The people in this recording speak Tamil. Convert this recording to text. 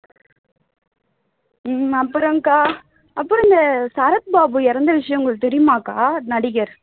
உம் அப்புறம் அக்கா அப்புறம் இந்த சரத் பாபு இறந்த விஷயம் உங்களுக்கு தெரியுமா அக்கா நடிகர்